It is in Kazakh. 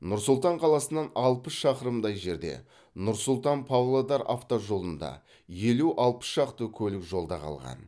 нұр сұлтан қаласынан алпыс шақырымдай жерде нұр сұлтан павлодар автожолында елу алпыс шақты көлік жолда қалған